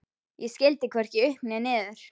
Ég skildi hvorki upp né niður.